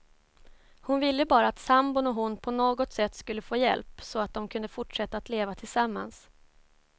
Hon ville bara att sambon och hon på något sätt skulle få hjälp, så att de kunde fortsätta att leva tillsammans.